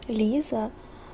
лиза